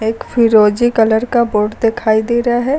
एक फीरोजी कॉलर का बोर्ड दिखाई दे रहा है।